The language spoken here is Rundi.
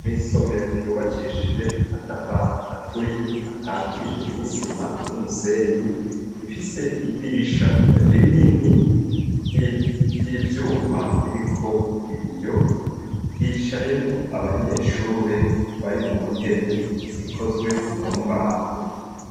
Mw'isomero ryubakishije amatafari aturiye akatije n'isima n'umusenyi ifise idirisha rinini ry'ivyuma ririko ibiyo hicayemwo abanyeshure bari mu ntebe zikozwe mu mbaho.